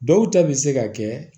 Dɔw ta bɛ se ka kɛ